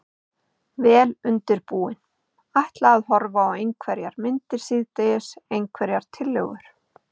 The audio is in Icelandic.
Vel undirbúinn. ætla að horfa á einhverjar myndir síðdegis, einhverjar tillögur?